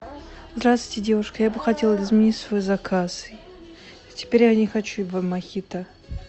здравствуйте девушка я бы хотела изменить свой заказ теперь я не хочу мохито